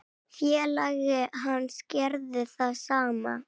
Félagi hans gerði það sama.